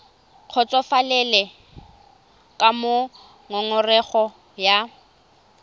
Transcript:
kgotsofalele ka moo ngongorego ya